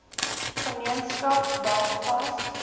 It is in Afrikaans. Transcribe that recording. gemeenskap staan bankvas